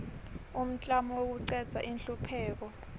umklamo wekucedza inhlupheko